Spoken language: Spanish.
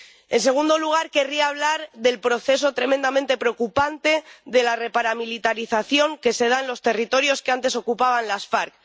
En segundo lugar, querría hablar del proceso tremendamente preocupante de la reparamilitarización que se da en los territorios que antes ocupaban las FARC.